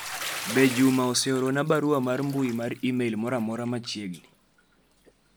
be Juma oseoro na barua mar mbui mar email moro amora machiegni